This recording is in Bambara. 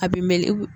A bɛ melege